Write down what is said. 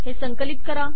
संकलित करा